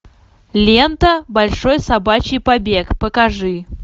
лента большой собачий побег покажи